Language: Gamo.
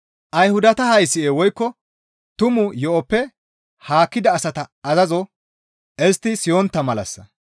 Ayhudata haysi7e woykko tumu yo7oppe haakkida asata azazo istti siyontta malassa.